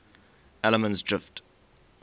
allemansdrift